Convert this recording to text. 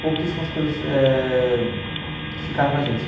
Pouquíssimas coisas eh ficaram com a gente.